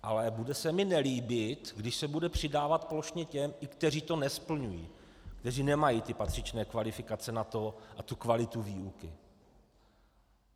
Ale bude se mi nelíbit, když se bude přidávat plošně i těm, kteří to nesplňují, kteří nemají ty patřičné kvalifikace na to a tu kvalitu výuky.